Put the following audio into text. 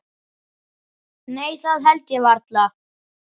Nei það held ég varla.